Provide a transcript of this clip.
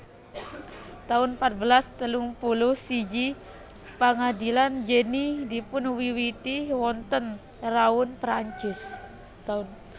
taun patbelas telung puluh siji Pangadilan Jenny dipunwiwiti wonten Rouen Prancis